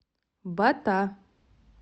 бата